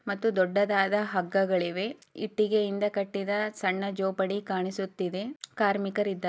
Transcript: ಮತ್ತು ದೊಡ್ಡದಾದ ಹಗ್ಗಗಳಿವೆ ಇಟ್ಟಿಗೆಯಿಂದ ಕಟ್ಟಿದ ಸಣ್ಣ ಜೊಪಡಿ ಕಾಣಿಸುತ್ತಿದೆ. ಕಾರ್ಮಿಕರಿದ್ದಾ--